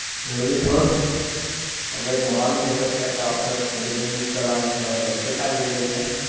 એ બધું છોડ હવે જવાનું છે તો કે તો પછી આપને એનું book કરવાની ખબર પડે કેટલા વાગ્યે જવું છે